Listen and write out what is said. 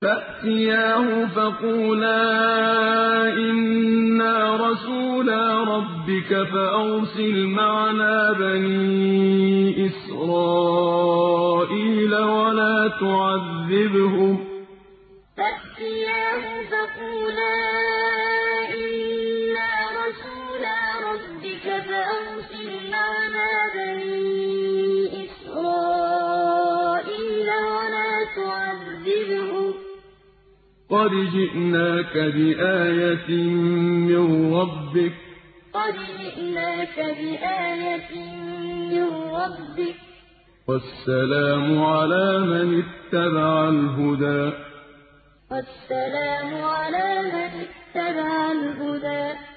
فَأْتِيَاهُ فَقُولَا إِنَّا رَسُولَا رَبِّكَ فَأَرْسِلْ مَعَنَا بَنِي إِسْرَائِيلَ وَلَا تُعَذِّبْهُمْ ۖ قَدْ جِئْنَاكَ بِآيَةٍ مِّن رَّبِّكَ ۖ وَالسَّلَامُ عَلَىٰ مَنِ اتَّبَعَ الْهُدَىٰ فَأْتِيَاهُ فَقُولَا إِنَّا رَسُولَا رَبِّكَ فَأَرْسِلْ مَعَنَا بَنِي إِسْرَائِيلَ وَلَا تُعَذِّبْهُمْ ۖ قَدْ جِئْنَاكَ بِآيَةٍ مِّن رَّبِّكَ ۖ وَالسَّلَامُ عَلَىٰ مَنِ اتَّبَعَ الْهُدَىٰ